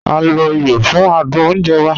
A lo ìyọ̀ fún àdùn ọ̀nje wà.